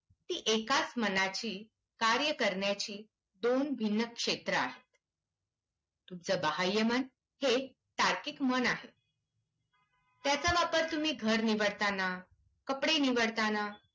ती एकचा मनाची कार्य करण्याची दोन भिन्न क्षेत्रं आहेत. तुमचं बाह्यमन हे तार्किक मन आहे. त्याचा वापर तुम्ही घर निवडताना, कपडे निवडताना